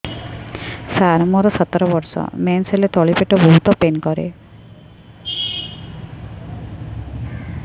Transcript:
ସାର ମୋର ସତର ବର୍ଷ ମେନ୍ସେସ ହେଲେ ତଳି ପେଟ ବହୁତ ପେନ୍ କରେ